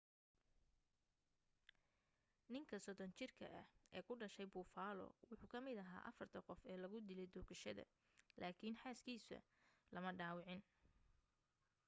ninka 30 jirka ah ee ku dhashay buffalo wuxuu ka mid aha afarta qof ee lagu dilay toogashada lakin xaas kiisu lama dhawacin